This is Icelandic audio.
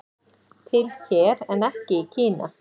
Til hér en ekki í Kína